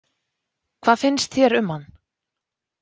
Hvað finnst þér um hann?